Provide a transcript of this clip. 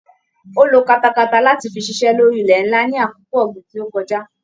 Ó lo katakata láti fi ṣiṣẹ́ lórí ilẹ ńlá ní àkókò ọ̀gbìn tí ó kojá.